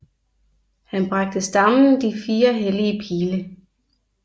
Han bragte stammen de fire hellige pile